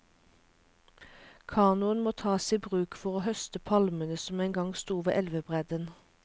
Kanoen må tas i bruk for å høste palmene som engang sto ved elvebredden.